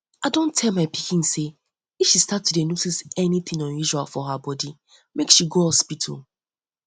i don tell my pikin say if um she start to to notice anything unusual for her body make she go hospital